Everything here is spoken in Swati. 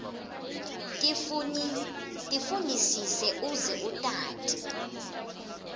tifunisise uze utati